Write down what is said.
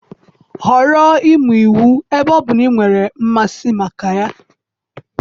Họrọ ịmụ iwu ebe ọ bụ na ị nwere mmasị maka ya.